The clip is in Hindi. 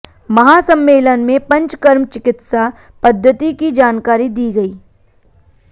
महासम्मेलन में पंचकर्म चिकित्सा पद्धति की जानकारी दी गई